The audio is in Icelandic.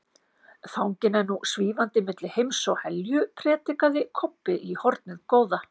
Fanginn er nú SVÍFANDI MILLI HEIMS OG HELJU, predikaði Kobbi í hornið góða.